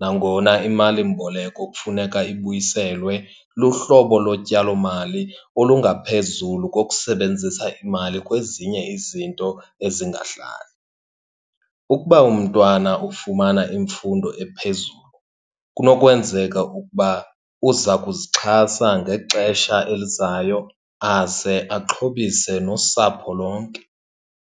Nangona imalimboleko kufuneka ibuyiselwe, luhlobo lotyalomali olungaphezulu kokusebenzisa imali kwezinye izinto ezingahlali. Ukuba mntwana ufumana imfundo ephezulu kunokwenzeka ukuba uza kuzixhasa ngexesha elizayo aze axhobise nosapho lonke.